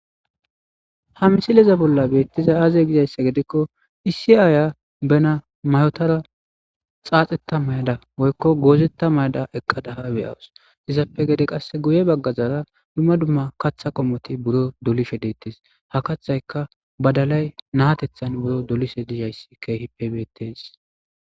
Ha misileza bolla beettiza aaze gizayssa gedikko isi aaya bena mayotara xaaxetta mayada woykko goozetta mayada eqqadaha beyawus izappe gede qasse guye baggazaara dumma dumma katha qomoti buro dolishe deettes ha kathayka badalay naatethan buro dolishe dizhayssi keehippe beettes